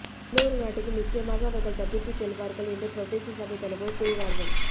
இன்னொரு நாட்டுக்கு நிச்சயமாக அவர்கள் தப்பித்துச் செல்வார்கள் என்று பிரதேச சபைத்தலைவர்கள் கூறினார்கள்